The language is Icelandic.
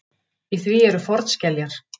Í því eru fornskeljar.